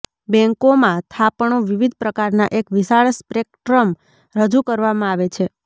બેન્કોમાં થાપણો વિવિધ પ્રકારના એક વિશાળ સ્પેક્ટ્રમ રજૂ કરવામાં આવે છે